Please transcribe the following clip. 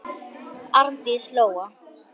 Arndís Lóa.